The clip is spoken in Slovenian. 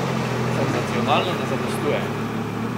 Senzacionalno ne zadostuje.